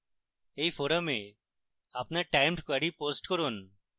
এই forum আপনার timed query post করুন